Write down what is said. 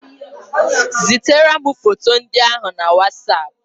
Zitere m foto ndị ahụ na Wasap.